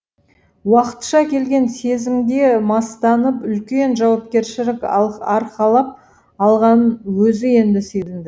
уақытша келген сезімге мастанып үлкен жауапкершілік арқалап алғанын өзі енді сезінді